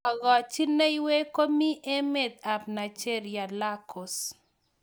Kakochineiywek ko mi emet ab Nigeria lagos.